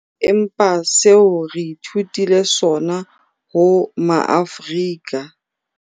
Empa seo re ithutileng sona ho Maafrika